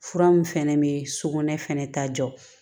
Fura min fɛnɛ bɛ sugunɛ fɛnɛ ta jɔ